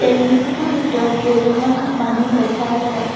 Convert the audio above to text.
তেল ডিপোটোৰ ভিতৰত কেইজনমান মানুহ দেখা যায়।